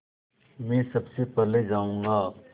मैं सबसे पहले जाऊँगा